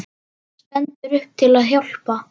Stendur upp til að hjálpa.